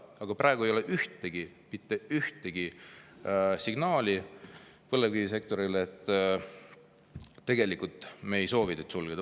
Aga praegu ei ole mitte ühtegi signaali põlevkivisektorile, et tegelikult me ei soovi teid sulgeda.